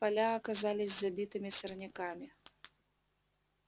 поля оказались забитыми сорняками